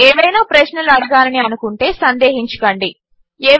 మీరు ఏవైనా ప్రశ్నలు అడగాలని అనుకుంటే సందేహించకండి